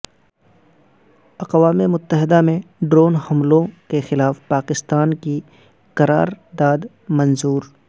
اقوام متحدہ میں ڈرون حملوں کیخلاف پاکستان کی قرار داد منظور